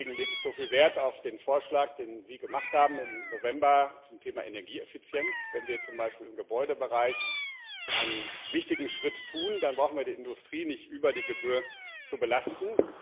Deswegen lege ich so viel Wert auf den Vorschlag, den Sie im November zum Thema Energieeffizienz gemacht haben. Wenn wir zum Beispiel im Gebäudebereich einen wichtigen Schritt tun, dann brauchen wir die Industrie nicht über Gebühr zu belasten.